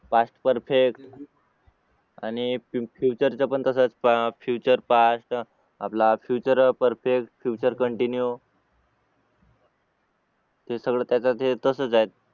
Past perfect आणि future च पण कसं असतं future past आपला future perfect future continue ते सगळं त्याचं ते तसंच आहे